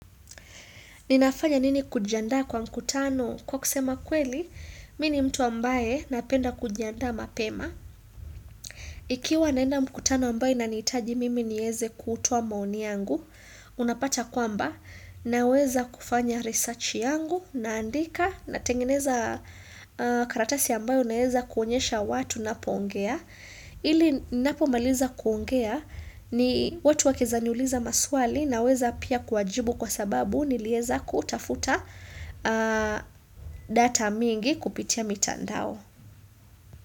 Ninafanya nini kujiandaa kwa mkutano? Kwa kusema kweli, mimi ni mtu ambaye napenda kujiandaa mapema. Ikiwa naenda mkutano ambayo inanihitaji mimi niweze kutowa maoni yangu, unapata kwamba naweza kufanya research yangu naandika natengeneza karatasi ambayo naeza kuonyesha watu ninapoongea. Ili ninapo maliza kuongea ni, watu wakieza niuliza maswali naweza pia kuwajibu kwa sababu nilieza kutafuta data mingi kupitia mitandao.